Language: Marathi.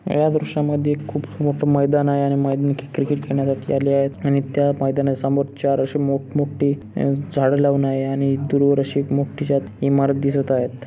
या दृश्या मध्ये खूप मोठ मैदान आहे आणि मैदानात क्रिकेट खेडण्यासाठी आलेले आहेतआणि त्या मैदाना समोर चार अशे मोट मोठे अह झाडे लावून आहे आणि दूरवर अशी एक मोट्ठि जात इमारत दिसत आहेत.